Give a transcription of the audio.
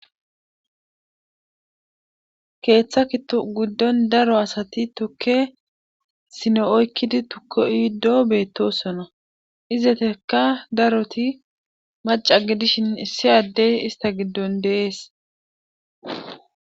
Keetha gidon daroo asati tuke sone oykidi tuke otishe betosona ,izetika daroti maca gidishn issi Adey ista gidon de'esi.